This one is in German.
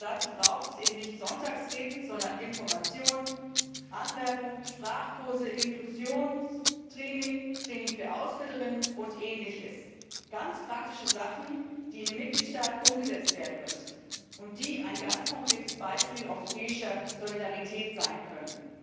Aber dazu braucht es nicht Sonntagsreden, sondern Information, Anwerbung, Sprachkurse, Inklusionstraining, Training für Ausbilder und ähnliches, ganz praktische Sachen, die in den Mitgliedstaaten umgesetzt werden müssen und die ein ganz konkretes Beispiel europäischer Solidarität sein können.